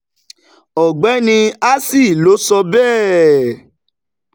ọ̀gbẹ́ni assi ló sọ bẹ́ẹ̀.